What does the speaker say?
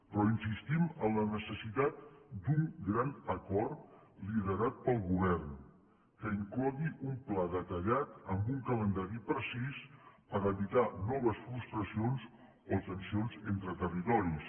però insistim en la necessitat d’un gran acord liderat pel govern que inclogui un pla detallat amb un calendari precís per evitar noves frustracions o tensions entre territoris